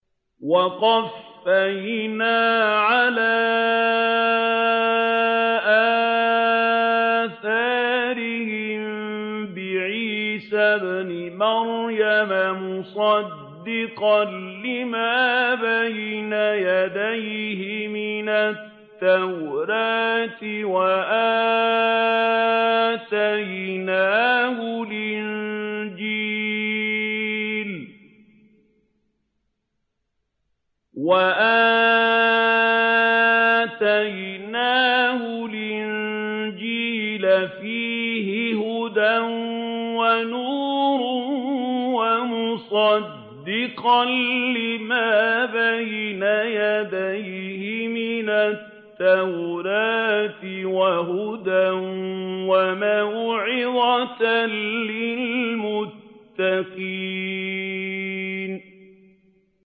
وَقَفَّيْنَا عَلَىٰ آثَارِهِم بِعِيسَى ابْنِ مَرْيَمَ مُصَدِّقًا لِّمَا بَيْنَ يَدَيْهِ مِنَ التَّوْرَاةِ ۖ وَآتَيْنَاهُ الْإِنجِيلَ فِيهِ هُدًى وَنُورٌ وَمُصَدِّقًا لِّمَا بَيْنَ يَدَيْهِ مِنَ التَّوْرَاةِ وَهُدًى وَمَوْعِظَةً لِّلْمُتَّقِينَ